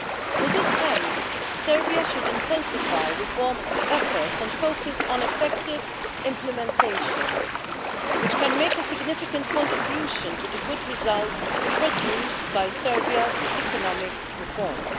To this end, Serbia should intensify reform efforts and focus on effective implementation, which can make a significant contribution to the good results produced by Serbia's economic reforms.